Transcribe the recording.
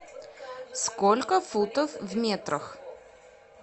сколько футов в метрах